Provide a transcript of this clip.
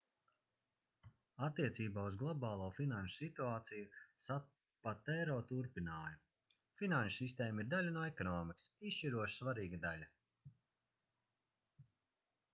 attiecībā uz globālo finanšu situāciju sapatero turpināja: finanšu sistēma ir daļa no ekonomikas izšķiroši svarīga daļa